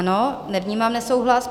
Ano, nevnímám nesouhlas.